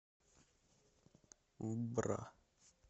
бра